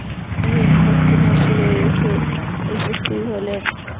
ভীম হস্তিনাপুরে এসে উপস্থিত হলেন।